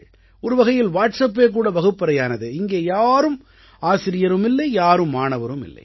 ஒருவகையில் வாட்ஸப்பே கூட வகுப்பறையானது இங்கே யாரும் ஆசிரியரும் இல்லை யாரும் மாணவரும் இல்லை